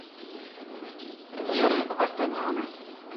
леры вартаняна